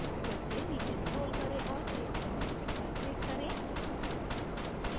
फिर से नीचे scroll करें और save block button पर click करें